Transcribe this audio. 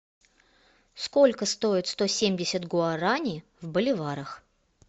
сколько стоит сто семьдесят гуараней в боливарах